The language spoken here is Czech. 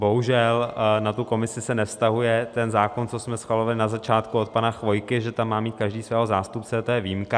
Bohužel na tu komisi se nevztahuje ten zákon, co jsme schvalovali na začátku od pana Chvojky, že tam má mít každý svého zástupce, to je výjimka.